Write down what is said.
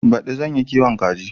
Baɗi zan yi kiwon kaji.